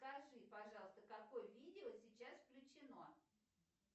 скажи пожалуйста какое видео сейчас включено